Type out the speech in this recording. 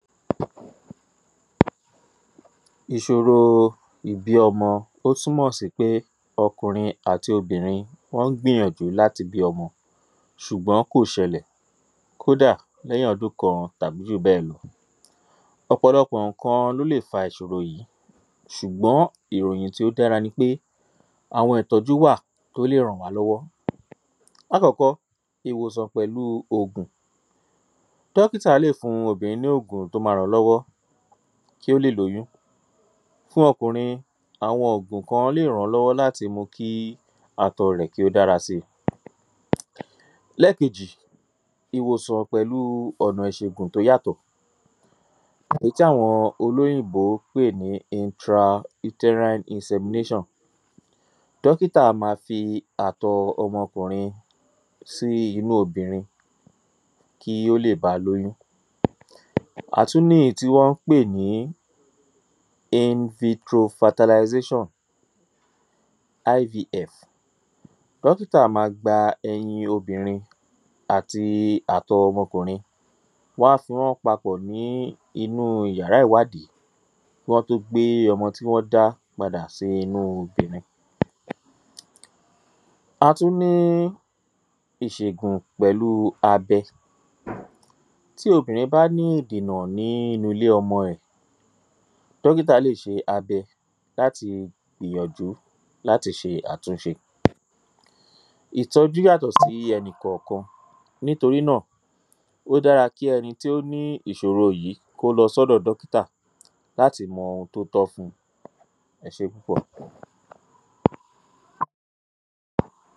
Ìṣòro ìbí ọmọ ó túmọ̀ sí pé ọkùnrin àti obìnrin wọ́n ń gbìyànjú láti bí ọmọ ṣùgbọ́n kò ṣẹlẹ̀ kódà lẹ́yìn ọdún kan tàbí jùbẹ́ẹ̀lọ ọ̀pọ̀lọpọ̀ ǹkan ló lè fa ìṣòro yìí ṣùgbọ́n ìròyìn tí ó dára ni pé àwọn ìtọ́jú wà tó lè ràn wa lọ́wọ́ lákọ́kọ́ ìwòsàn pẹ̀lúu ògùn dọ́kítà lè fún obìnrin ní ògùn tó ma rán lọ́wọ́ kí ó lè lóyún fún okùnrin àwọn ògùn kan lè ràn-án lọ́wọ́ láti mu kí atọ rẹ̀ kí ó dára si lẹ́kejì ìwòsàn pẹ̀lúu ọ̀nà ìṣegùn tó yàtọ̀ èyí tí awọn olóyìnbo pè ní ‘intra uterine insemination’ dọ́kítà ma fi àtọ ọmọ okùnrin sí inú obìnrin kí ó lè ba lóyún a tú níyí tí wọ́n ń pè ní ‘invitro fertilisation’ 'IVF' dọ́kítà ma gba ẹyin obìnrin àti àtọ ọmọ ọkùnrin wọ́n á fi wọ́n papọ̀ ní inúu yàrá ìwádí kí wọ́n tó gbé ọmọ tí wọ́n dá padà sí inú obìnrin a tú ní ìṣègùn pèlú abẹ tí obìnrin bá ní ìdènà nínu ilé ọmọ ẹ̀ dọ́kítà lè ṣe abẹ láti gbìyànjú láti ṣe àtúnṣe ìtọ́jú yàtọ̀ sí ẹni kọ̀kan nítorí náà ó dára kí ẹni tí ó ní ìṣòro yìí kó lọ sọ́dọ̀ dọ́kítà láti mọ ohun tó tọ́ ẹ ṣé púpọ̀